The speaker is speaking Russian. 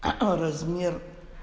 а размер